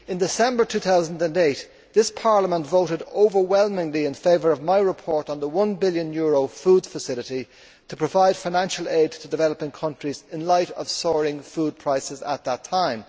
In December 2008 this Parliament voted overwhelmingly in favour of my report on the EUR 1 billion food facility to provide financial aid to developing countries in light of soaring food prices at that time.